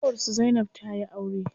Ƙanwar su zainab tayi aure.